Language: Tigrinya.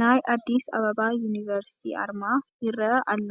ናይ ኣዲስ ኣባባ ዩኒቨርሲቲ ኣርማ ይርአ ኣሎ፡፡